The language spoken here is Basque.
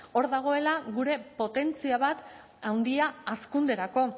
hor dagoela gure potentzia bat handia hazkunderako